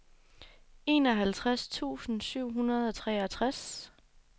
enoghalvtreds tusind syv hundrede og treogtres